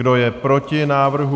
Kdo je proti návrhu?